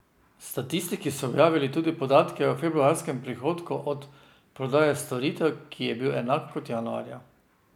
Statistiki so objavili tudi podatke o februarskem prihodku od prodaje storitev, ki je bil enak kot januarja.